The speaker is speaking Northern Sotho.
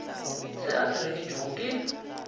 se a se reketšwego ke